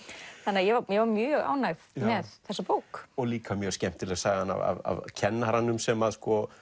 ég var mjög ánægð með þessa bók líka mjög skemmtileg sagan af kennaranum sem